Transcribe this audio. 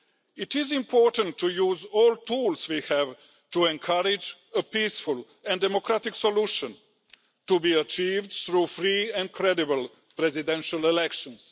It is important to use all the tools we have to encourage a peaceful and democratic solution, to be achieved through free and credible presidential elections.